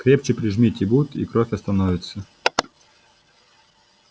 крепче прижмите бут и кровь остановится